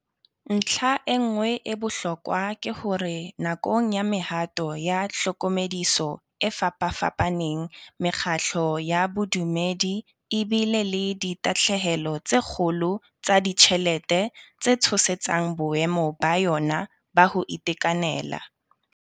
Ntlha e nngwe ya bohlokwa ke hore nakong ya mehato ya tlhokomediso e fapafapa neng, mekgatlo ya bodumedi e bile le ditahlehelo tse kgolo tsa ditjhelete tse tshosetsang boemo ba yona ba ho ite kanela.